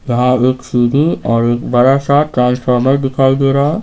यहां एक सीडी और एक बड़ा सा ट्रांसफार्मर दिखाई दे रहा है।